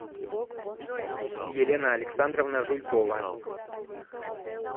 елена александровна жуйкова